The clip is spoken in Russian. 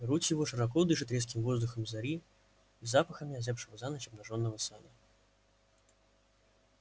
грудь его широко дышит резким воздухом зари и запахами озябшего за ночь обнажённого сада